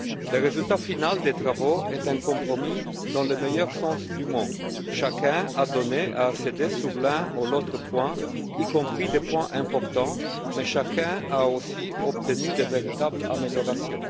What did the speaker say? Le résultat final des travaux est un compromis dans le meilleur sens du mot chacun a donné et cédé sur l'un ou l'autre point, y compris des points importants, mais chacun a aussi obtenu de véritables améliorations.